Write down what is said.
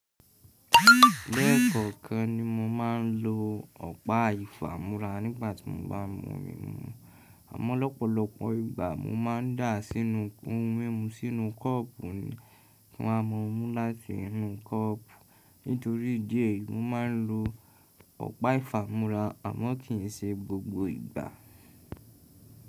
Lẹ́ẹ̀kọ̀kan ni mo máa ń lo ọ̀pá ìfámú́ra nígbà tí mo bá mú omi mu. Àmọ́ lọ́pọ̀lọpọ̀ ìgbà mo máa ń dà á sínú ko ohun mímu sínú kọ́ọ̀pù ki wa ma mu láti inú kọ́ọ̀pù. Nítorí ìdí èyí, mo máa ń lo ọ̀pá ìfámú́ra àmọ́ kì í ṣe gbogbo ìgbà.